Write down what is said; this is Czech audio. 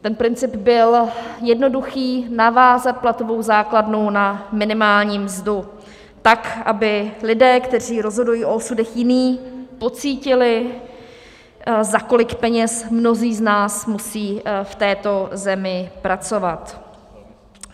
Ten princip byl jednoduchý, navázat platovou základnu na minimální mzdu tak, aby lidé, kteří rozhodují o osudech jiných, pocítili, za kolik peněz mnozí z nás musí v této zemi pracovat.